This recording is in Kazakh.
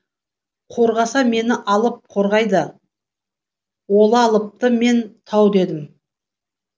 қорғаса мені алып қорғайды олалыпты мен тау дедім